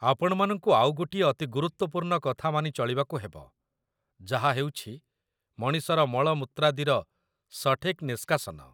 ଆପଣମାନଙ୍କୁ ଆଉ ଗୋଟିଏ ଅତି ଗୁରୁତ୍ୱପୂର୍ଣ୍ଣ କଥା ମାନି ଚଳିବାକୁ ହେବ, ଯାହା ହେଉଛି ମଣିଷର ମଳମୂତ୍ରାଦିର ସଠିକ୍ ନିଷ୍କାସନ